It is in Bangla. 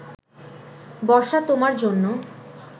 বর্ষা তোমার জন্য